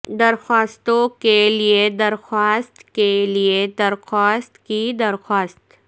درخواستوں کے لئے درخواست کے لئے درخواست کی درخواست